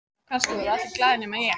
Já, kannski voru allir glaðir nema ég.